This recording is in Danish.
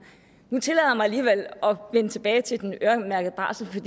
nu tillader jeg mig alligevel at vende tilbage til den øremærkede barsel